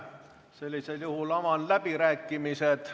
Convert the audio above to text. Sellisel juhul avan läbirääkimised.